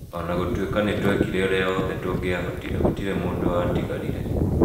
O na gũtuĩka nĩ twekire ũrĩa wothe tũngĩahotire, gũtirĩ mũndũ watigarire.